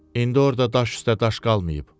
İndi orada daş üstə daş qalmayıb.